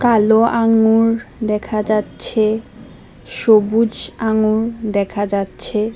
কালো আঙ্গুর দেখা যাচ্ছে সবুজ আঙ্গুর দেখা যাচ্ছে।